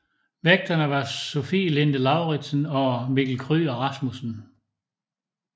Værterne var Sofie Linde Lauridsen og Mikkel Kryger Rasmussen